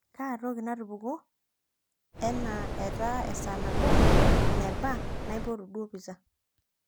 kaa toki natupukuo enaa etaa esaa nabo neba naipotu duo pizza